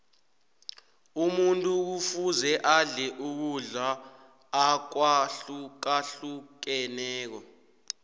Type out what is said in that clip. umuntu kufuze adle ukudla akwahlukahlukeneko